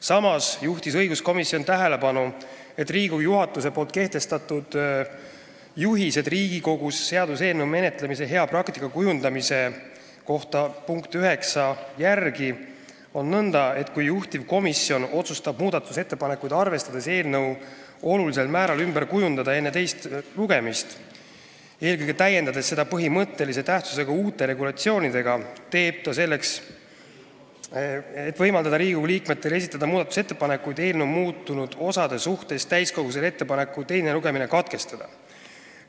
Samas juhtis õiguskomisjon tähelepanu, et Riigikogu juhatuse kehtestatud "Juhiste Riigikogus seaduseelnõu menetlemise hea praktika kujundamiseks" punkti 9 järgi on nõnda, et kui juhtivkomisjon otsustab muudatusettepanekuid arvestades eelnõu olulisel määral ümber kujundada enne teist lugemist, eelkõige täiendades seda põhimõttelise tähtsusega uute regulatsioonidega, teeb ta selleks, et võimaldada Riigikogu liikmetel esitada muudatusettepanekuid eelnõu muutunud osade kohta, täiskogule ettepaneku teine lugemine katkestada.